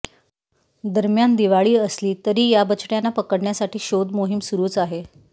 दरम्यान दिवाळी असली तरी या बछड्याना पकडण्यासाठी शोधमोहीम सुरूच आहे